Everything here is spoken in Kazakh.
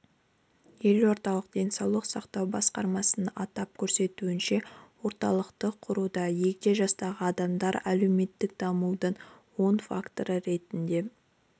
елордалық денсаулық сақтау басқармасының атап көрсетуінше орталықты құруда егде жастағы адамдар әлеуметтік дамудың оң факторы ретінде